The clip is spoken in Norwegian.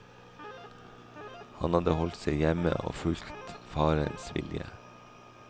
Han hadde holdt seg hjemme og fulgt farens vilje.